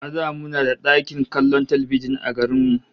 A da muna da ɗakin kallon talbijin a garin mu